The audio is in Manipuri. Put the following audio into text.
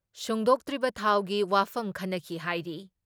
ꯁꯨꯡꯗꯣꯛꯇ꯭ꯔꯤꯕ ꯊꯥꯎꯒꯤ ꯋꯥꯐꯝ ꯈꯟꯅꯈꯤ ꯍꯥꯏꯔꯤ ꯫